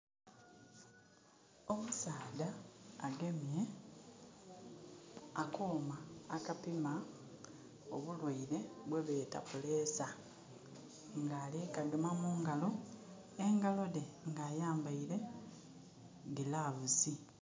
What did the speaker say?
Omusaadha agemye akooma akapima obulwaire bwebeta pulesa nga ali kukagema mungalo, engalo dhe nga ayambeire gilavusi.